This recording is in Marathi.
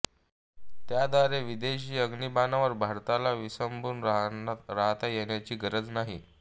त्याद्वारे विदेशी अग्नीबाणावर भारताला विसंबून राहता येण्याची गरज नाही